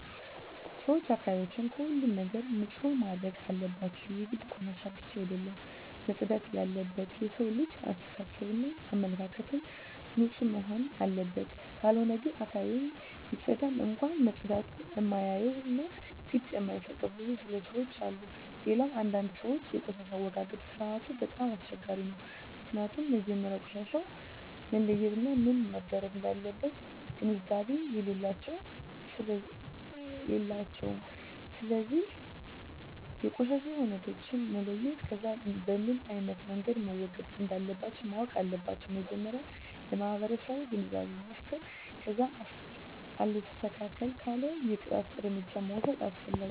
ሰወች አካባቢያቸውን ከሁሉም ነገር ንፁህ ማድረግ አለባቸው የግድ ቆሻሻ ብቻ አደለም መፅዳት የለበት የሠው ልጅ አሰተሳሰብ እና አመለካከትም ንፁህ መሆንና አለበት ካልሆነ ግን አካባቢውን ቢፀዳም እንኳ መፀዳቱን እማያዮ እና ግድ እማይጣቸው ብዙ ለሠዎች አሉ። ሌላው አንዳንድ ሰወች የቆሻሻ አወጋገድ ስርዓቱ በጣም አስቸጋሪ ነው ምክኒያቱም መጀመሪያ ቆሻሻውን መለየት እና ምን መረግ እንዳለበት ግንዛቤ የላቸውም ስለዚ የቆሻሻ አይነቶችን መለየት ከዛ በምኖ አይነት መንገድ መወገድ እንለባቸው ማወቅ አለባቸው መጀመሪያ ለማህበረሰቡ ግንዛቤ መፍጠር ከዛ አልስተካክል ካለ የቅጣት እርምጃ መውስድ አስፈላጊ ነው